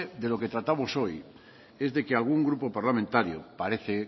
de lo que tratamos hoy es de que algún grupo parlamentario parece